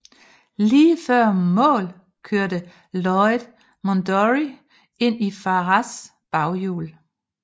Lige før mål kørte Lloyd Mondory ind i Farrars baghjul